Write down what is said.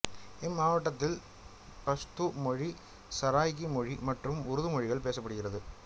இம்மாவட்டத்தில் பஷ்தூ மொழி சராய்கி மொழி மற்றும் உருது மொழிகள் பேசப்படுகிறது